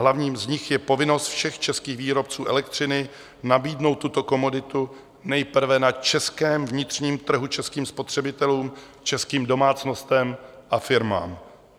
Hlavním z nich je povinnost všech českých výrobců elektřiny nabídnout tuto komoditu nejprve na českém vnitřním trhu, českým spotřebitelům, českým domácnostem a firmám.